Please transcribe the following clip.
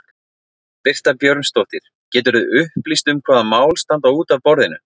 Birta Björnsdóttir: Geturðu upplýst um hvaða mál standa út af borðinu?